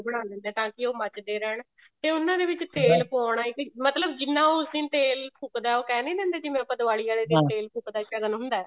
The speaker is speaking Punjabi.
ਬਣਾ ਲਿੰਦੇ ਤਾਂਕੀ ਉਹ ਮੱਚਦੇ ਰਹਿਣ ਤੇ ਉਹਨਾਂ ਦੇ ਵਿੱਚ ਤੇਲ ਪਾਉਣਾ ਮਤਲਬ ਜਿੰਨਾ ਉਸ ਦਿਨ ਤੇਲ ਫੁੱਕਦਾ ਉਹ ਕਹਿ ਨਹੀਂ ਰਹੇ ਕੀ ਜਿਵੇਂ ਆਪਾਂ ਦਿਵਾਲੀ ਵਾਲੇ ਦਿਨ ਤੇਲ ਫੁੱਕਦਾ ਸ਼ਗਨ ਹੁੰਦਾ